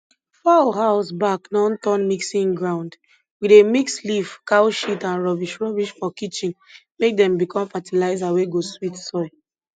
fowl house back don turn mixing ground we dey mix leaf cow shit and rubbish rubbish for kitchen make dem become fertilizer wey go sweet soil